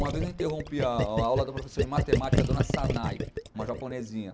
Uma vez eu interrompi a aula da professora de matemática, a dona Sanai, uma japonesinha.